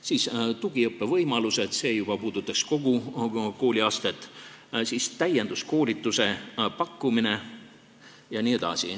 Siis tugiõppevõimalused, see juba puudutab kogu kooliastet, täienduskoolituse pakkumine jne.